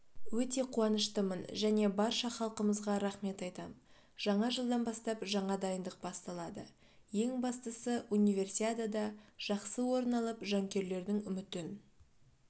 өте қуаныштымын және барша халқымызға рахмет айтам жаңа жылдан бастап жаңа дайындық басталады ең бастысы универсиадада жақсы орын алып жанкүйерлердің үмітін